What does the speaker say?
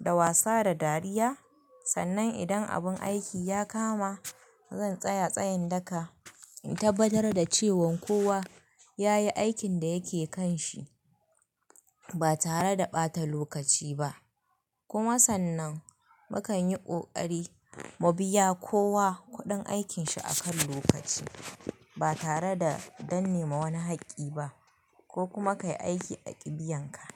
da wasa da dariya. Sannan idan abun aiki ya kama, zan tsaya tsayin daka in tabbatar da cewan kowa yayi aikin da yake kanshi ba tare da ɓata lokaci ba. Kuma sannan, mukan yi ƙoƙari mu biya kowa kuɗin aikin shi akan lokaci ba tare da danne ma wani hakki ba ko kuma kai aiki a ƙibiyanka.